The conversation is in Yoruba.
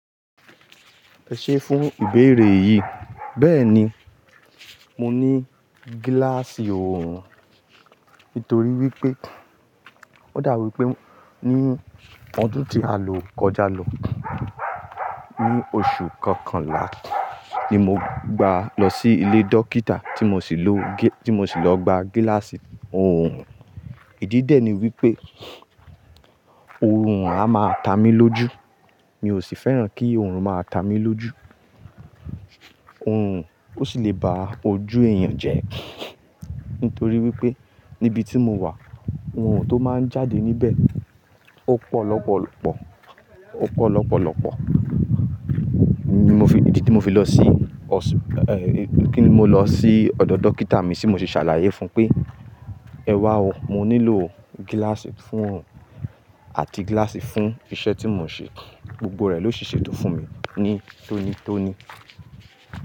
Ẹ ṣé fún ìbéèrè yìí, bẹ́ẹ̀ni, mo ní gíláàsì oorun. Nítorí wípé ó dà bi wípé ní ọdún tí a lò kọjá lọ, ní oṣù kọkànlá ni mo gba lọ sí ilé dókítà tí mo sì lọ gba gíláàsì oorun. Ìdí dẹ́ ni wípé oorun a máa ta mí lójú. Mi ò sì fẹ́ràn kí oorun máa ta mí lójú. Oorun ò sì lè ba ojú èèyàn jẹ́. Nítorí wípé níbi tí mo wà, oorun tó máa ń jáde níbẹ̀, ó pọ̀ lọ́pọ̀lọ́pọ̀, ó pọ̀ lọ́pọ̀lọ́pọ̀. Ni mo fi-- ìdí tí mo fi lọ sí ọ̀ṣù-- kí ni mo lọ sí ọ̀dọ̀ dókítà mi tí mo sì ṣàlàyé fún un pé, "Ẹwà o, mo nílò gíláàsì fún oorun àti gíláàsì fún iṣẹ́ tí mò ń ṣe." Gbogbo rẹ̀ ló si ṣe ètò fún mi ní tónítóní.